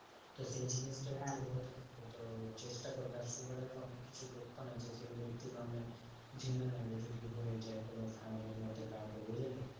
তো সেই জিনিসটাই ওদের থাকে। তো চেষ্টা করবে আর sugar এর অনেককিছু লোকসান আছে সেগুলো একটু নাহলে জেনে নেবে যদি হয় যায় কোনো family র মধ্যে কাউকে, বুঝলে?